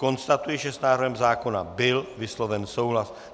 Konstatuji, že s návrhem zákona byl vysloven souhlas.